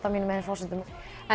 á mínum eigin forsendum